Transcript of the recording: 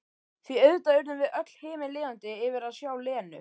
Því auðvitað urðum við öll himinlifandi yfir að sjá Lenu.